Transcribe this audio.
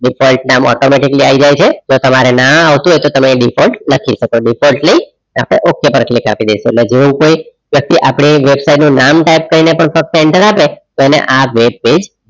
default નામ automatically આવી જાય છે તમારે ના આવતું હોય તો તમે default લખી શકો અથવા defaulty પછી okay પર click આપી દેશો એટલે જેવુ કોઈ પછી આપણે website નું નામ type કરીને enter આપે તો એને આ web page